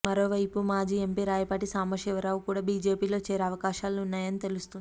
మరో వైపు మాజీ ఎంపీ రాయపాటి సాంబశివరావు కూడ బీజేపీలో చేరే అవకాశాలు ఉన్నాయని తెలుస్తోంది